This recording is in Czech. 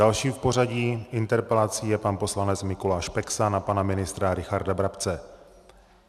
Další v pořadí interpelací je pan poslanec Mikuláš Peksa na pana ministra Richarda Brabce.